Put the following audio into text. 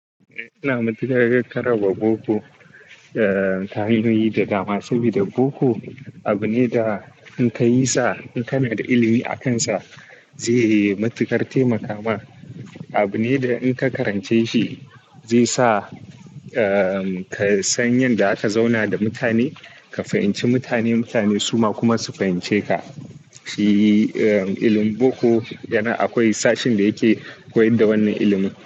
Ina matukar garkarrama boko, eh, tahayoyi da dama saboda boko abu ne da in ka yi sa, in kana da ilimi akansa zai yi matuƙar taimaka ma. Abu ne da in ka karance shi zai sa, eh, ka san yanda zaka zauna da mutane, ka fahimci mutane, mutane suma kuma su fahimce ka. Shi, eh, ilimin boko yana akwai sashin da yake koyad da wannan ilimin.